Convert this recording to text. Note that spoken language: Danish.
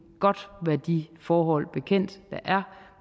godt være de forhold bekendt der er